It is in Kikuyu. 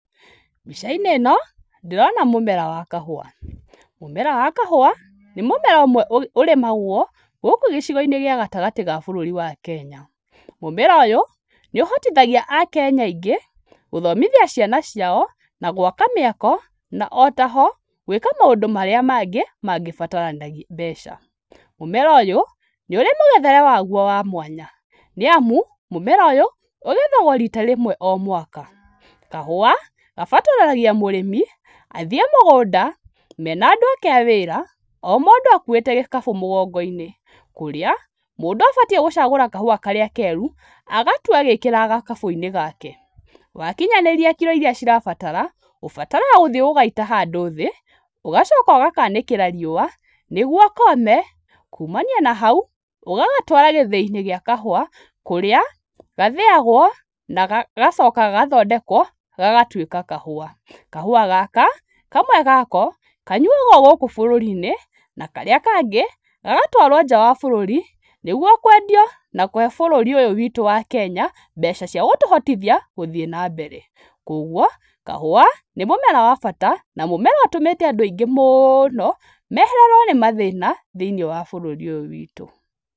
Mbica-inĩ ĩno ndĩrona mũmera wa kahũa. Mũmera wa kahũa nĩ mũmera ũmwe ũrĩmagwo gũkũ gĩcigo-inĩ gĩa gatagatĩ ga bũrũri wa Kenya. Mũmera ũyũ nĩ ũhotithagia akenya aingĩ gũthomithia ciana ciao na gwaka mĩako na ũtaho gwĩka maũndũ marĩa mangĩ mangĩbatarania mbeca. Mũmera ũyũ nĩ ũrĩ mũgethere waguo wa mwanya nĩamu mũmera ũyũ ũgethagwo rita rĩmwe mwaka. Kahũa gabataranagia mũrĩmi athiĩ mũgũnda mena andũ ake a wĩra o mũndũ akuĩte gĩkabu mũgongo-inĩ, kũrĩa mũndũ abatiĩ gũcagũra kahũa karĩa keru agatua agĩkĩraga gakabũ-inĩ gake. Wakinyanĩria kiro iria irabatara ũthiyaga ũgagaita handũ thĩ ũgacoka ũgakanĩkĩra riũwa nĩguo kome kumania na hau ũgagatwara gĩthĩi-inĩ gĩa kahũa kũrĩa gathĩagwo na gagacoka gagatuĩka kahũa. Kahũa gaka kamwe gako kanyuagwo gũkũ bũrũri-inĩ na karĩa kangĩ gagatwarwo nja wa bũrũri, nĩguo kwendio na kũhe bũrũri ũyũ witũ wa Kenya mbeca cia gũtũhotithia gũthiĩ na mbere. Kuoguo kahũa nĩ mũmera wa bata na mũmera ũtũmĩte andũ aingĩ mũno mehererwo nĩ mathĩna thĩinĩ wa bũrũri ũyũ witũ.